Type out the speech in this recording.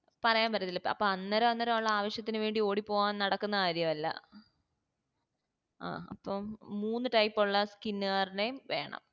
പറയാൻപറ്റത്തില്ല അപ്പൊ അന്നേരന്നേരം ഉള്ള ആവിശ്യത്തിന് വേണ്ടി ഓടിപ്പോവാൻ നടക്കുന്ന കാര്യം അല്ല അപ്പൊ മൂന്ന് type ള്ള skin കാരനേം വേണം